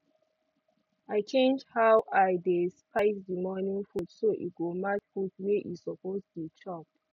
i change how i dey spice the morning food so e go match food wey e suppose dey chop